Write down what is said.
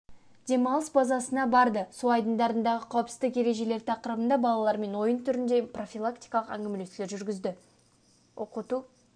демалыс базасына барды су айдындарындағы қауіпсіздік ережелері тақырыбында балалармен ойын түрінде профилактикалық әңгімелесулер жүргізді оқыту